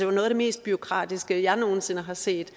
var noget af det mest bureaukratiske jeg nogen sinde har set